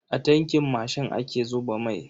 A tankin mashin ake zuba mai.